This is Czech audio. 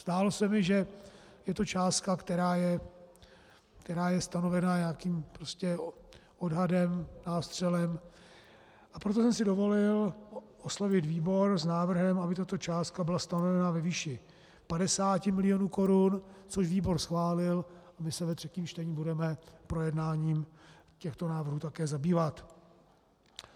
Zdálo se mi, že je to částka, která je stanovena nějakým odhadem, nástřelem, a proto jsem si dovolil oslovit výbor s návrhem, aby tato částka byla stanovena ve výši 50 milionů korun, což výbor schválil, a my se ve třetím čtení budeme projednáním těchto návrhů také zabývat.